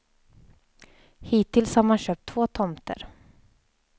Hittills har man köpt två tomter.